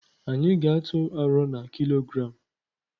Anyị ga-atụ aro na kilogram.